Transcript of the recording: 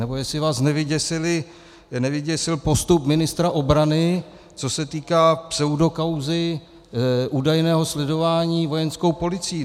Nebo jestli vás nevyděsil postup ministra obrany, co se týká pseudokauzy údajného sledování Vojenskou policií.